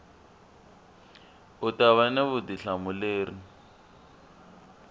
u ta va na vutihlamuleri